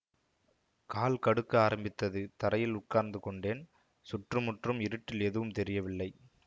கால் கடுக்க ஆரம்பித்தது தரையில் உட்கார்ந்துகொண்டேன் சுற்றுமுற்றும் இருட்டில் எதுவும் தெரியவில்லை